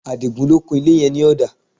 Adigun ló kun ilé yẹn ní ọ̀dà